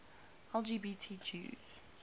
lgbt jews